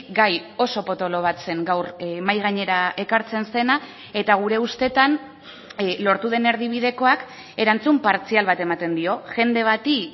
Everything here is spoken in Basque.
gai oso potolo bat zen gaur mahai gainera ekartzen zena eta gure ustetan lortu den erdibidekoak erantzun partzial bat ematen dio jende bati